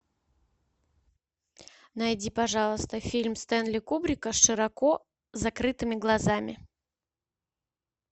найди пожалуйста фильм стэнли кубрика с широко закрытыми глазами